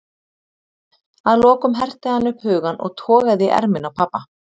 Að lokum herti hann upp hugann og togaði í ermina á pabba.